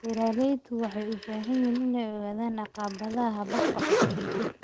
Beeralayda waxay u baahan yihiin inay ogaadaan caqabadaha hababka cusub.